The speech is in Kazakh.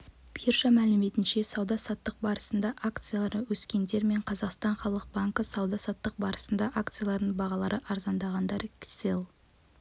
биржа мәліметінше сауда-саттық барысында акциялары өскендер және қазақстан халық банкі сауда-саттық барысында акцияларының бағалары арзандағандар кселл